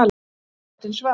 Og röddin svaraði